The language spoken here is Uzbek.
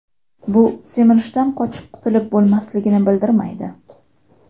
Bu semirishdan qochib qutilib bo‘lmasligini bildirmaydi.